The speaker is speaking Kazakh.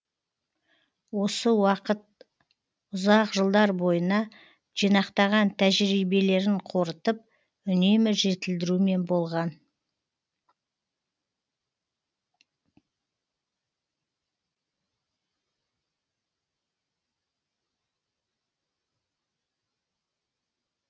осы уақыт ұзақ жылдар бойына жинақтаған тәжірибелерін қорытып үнемі жетілдірумен болған